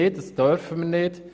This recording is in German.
Das dürfen wir nicht.